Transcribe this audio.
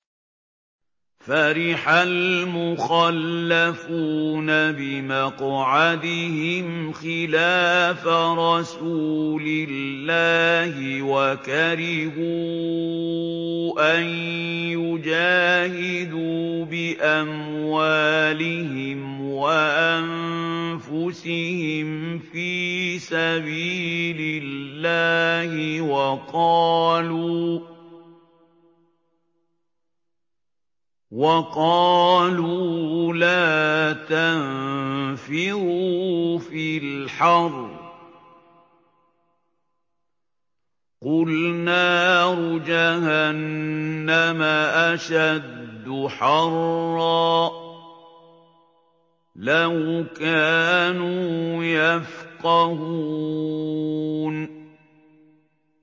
فَرِحَ الْمُخَلَّفُونَ بِمَقْعَدِهِمْ خِلَافَ رَسُولِ اللَّهِ وَكَرِهُوا أَن يُجَاهِدُوا بِأَمْوَالِهِمْ وَأَنفُسِهِمْ فِي سَبِيلِ اللَّهِ وَقَالُوا لَا تَنفِرُوا فِي الْحَرِّ ۗ قُلْ نَارُ جَهَنَّمَ أَشَدُّ حَرًّا ۚ لَّوْ كَانُوا يَفْقَهُونَ